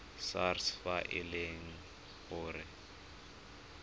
sars fa e le gore